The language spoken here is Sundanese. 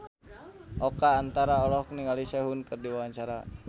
Oka Antara olohok ningali Sehun keur diwawancara